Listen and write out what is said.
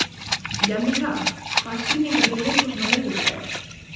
Jannika, hvaða sýningar eru í leikhúsinu á miðvikudaginn?